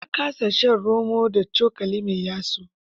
Ya kasa shan romo da cokali mai yatsu.